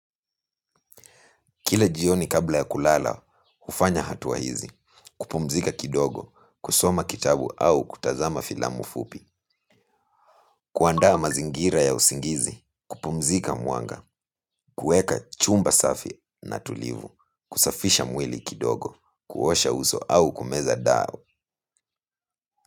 Kila jioni kabla ya kulala, hufanya hatua hizi, kupumzika kidogo, kusoma kitabu au kutazama filamu fupi, kuandaa mazingira ya usingizi, kupumzika mwanga, kueka chumba safi na tulivu, kusafisha mwili kidogo, kuosha uso au kumeza dau.